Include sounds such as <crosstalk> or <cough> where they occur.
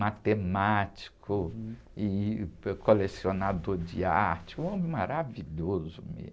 Matemático e <unintelligible> colecionador de arte, um homem maravilhoso mesmo.